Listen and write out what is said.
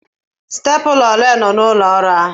Stepụla ole nọọrọ n'ụlọ ọrụ ahụ?